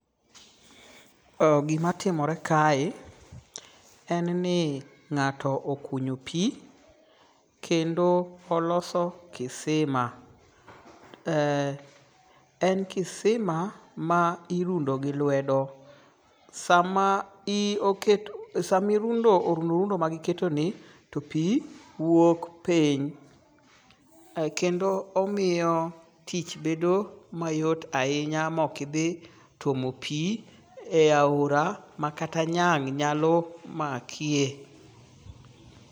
Gima timore kae en ni ng'ato okunyo pi kendo oloso kisima. En kisima ma irundo gi lwedo. Sama i oketo samirundo orundo rundo ma gi keto ni to pi wuok piny. Kendo omiyo tich bedo mayot ahinya mok idhi tuomo pi e aora makata nyang' nyalo maki.